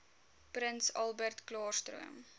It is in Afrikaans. prins albertklaarstroom